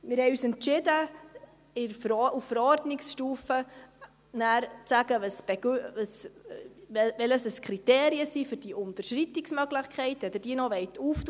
Wir haben uns entschieden, nachher auf Verordnungsstufe zu sagen, welches die Kriterien für diese Unterschreitungsmöglichkeit sind, wenn Sie diese noch öffnen wollen.